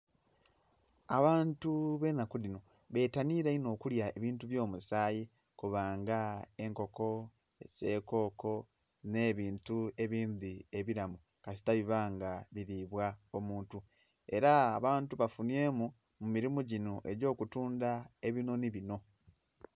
Abantu benhaku dhino betanhira onho okulya ebintu byo musaayi Kona nga enkoko, esekoko nhe bintu ebindhi ebilamu kasita bona nga bilibwa omuntu era abantu bafunhyemu mu mulimu ginho egyo kutundha ebinhonhi binho.